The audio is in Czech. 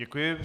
Děkuji.